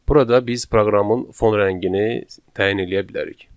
Burada biz proqramın fon rəngini təyin eləyə bilərik.